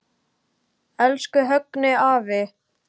Elsku Högni afi.